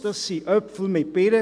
Man vergleicht Äpfel mit Birnen.